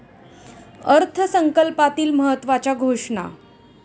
अर्थसंकल्पातील महत्त्वाच्या घोषणा.